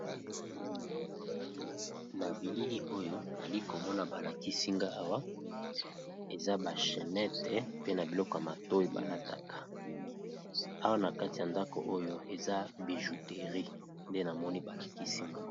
Na bilili oyo nali ko mona ba lakisi nga awa eza ba chenete pe na biloko ya matoyi ba lataka . Awa na kati ya ndako oyo eza bijouterie nde na moni ba lakisi nga .